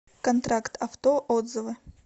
контракт авто отзывы